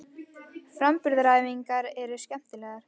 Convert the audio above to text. Framburðaræfingarnar eru skemmtilegar.